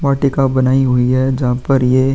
वाटिका बनाई हुई है जहाँ पर ये --